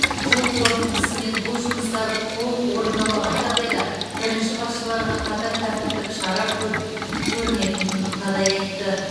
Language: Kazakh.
жыл қорытындысымен бұл жұмыстар толық орындалмаған жағдайда бірінші басшыларға қатаң тәртіптік шара көр көрілетінін қадай айтты